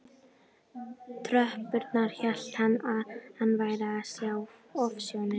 tröppurnar hélt hann að hann væri að sjá ofsjónir.